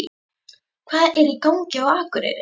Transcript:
HVAÐ ER Í GANGI Á AKUREYRI?